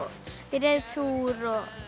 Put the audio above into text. í reiðtúr